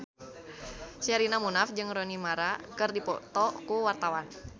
Sherina Munaf jeung Rooney Mara keur dipoto ku wartawan